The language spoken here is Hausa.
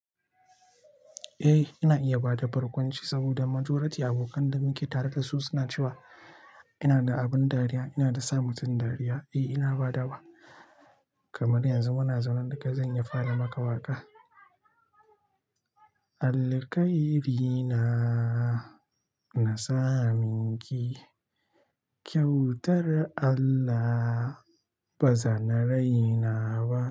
Eh, ina iya bada barkwanci saboda majority abokan da muke tare da su suna cewa ina da abin dariya, ina da sa mutum dariya. Eh, ina badawa kamar yanzu muna zaune daka zan iya fara maka waƙa. Alkhairina na sa minki kyautar Allah ba zana raina ba.